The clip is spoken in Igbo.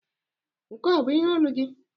Nke a ọ bụ ihe olu gị?